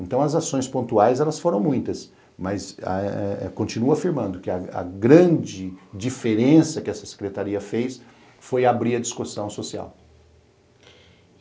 Então, as ações pontuais elas foram muitas, mas continuo afirmando que a grande diferença que essa secretaria fez foi abrir a discussão social.